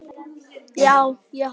Það er eins og mýrin hafi gleypt það.